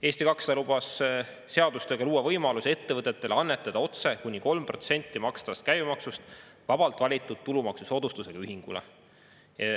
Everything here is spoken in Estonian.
Eesti 200 lubas seadustega luua võimaluse ettevõtetele annetada otse kuni 3% makstavast käibemaksust vabalt valitud tulumaksusoodustusega ühingule.